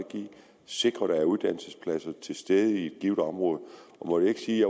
sikre at der er uddannelsespladser til stede i et givet område må jeg ikke sige at